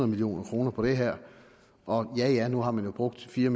million kroner på det her og ja nu har man jo brugt fire